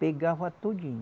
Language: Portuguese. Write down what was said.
Pegava tudinho.